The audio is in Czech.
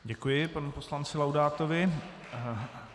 Děkuji panu poslanci Laudátovi.